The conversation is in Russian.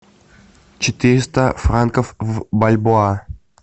четыреста франков в бальбоа